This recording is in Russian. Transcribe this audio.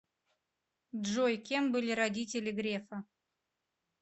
джой кем были родители грефа